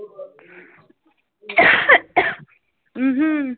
ਹਮ